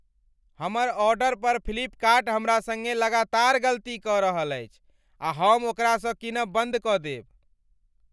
हमर आर्डर पर फ्लिपकार्ट हमरा संगे लगातार गलती कऽ रहल छी आ हम ओकरा सँ कीनब बन्द कऽ देब।